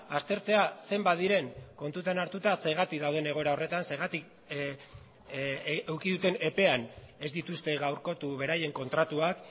aztertzea zenbat diren kontutan hartuta zergatik dauden egoera horretan zergatik eduki duten epean ez dituzte gaurkotu beraien kontratuak